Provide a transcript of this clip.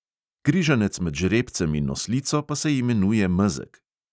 Križanec med žrebcem in oslico pa se imenuje mezeg.